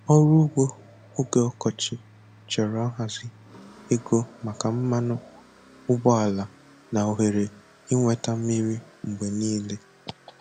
Ọrụ ugbo oge ọkọchị chọrọ nhazi, ego maka mmanụ ụgbọala, na ohere ịnweta mmiri mgbe niile.